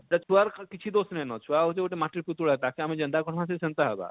ସେ ଛୁଆର ଖାଲି କିଛି ଦୋଷ ନେଇ ନ ଛୁଆ ଗୁଟେ ଗୁଟେ ମାଟିର ପିତୁଳା ଟେ ତାକେ ଆମେ ଯେନତା କହେମା ସେ ସେନତା ହେବା